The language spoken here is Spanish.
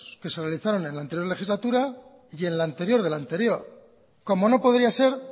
que se realizaron en la anterior legislatura y en la anterior de la anterior cómo no podría ser